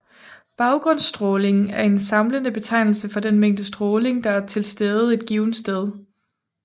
Baggrundsstrålingen er en samlende betegnelse for den mængde stråling der er tilstede et givent sted